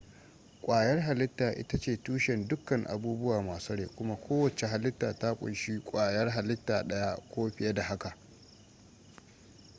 ƙwayar halitta ita ce tushen dukkan abubuwa masu rai kuma kowacce halitta ta kunshi kwayar halitta ɗaya ko fiye da haka